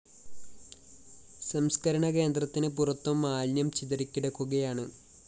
സംസ്‌കരണകേന്ദ്രത്തിന് പുറത്തും മാലിന്യം ചിതറിക്കിടക്കുകയാണ്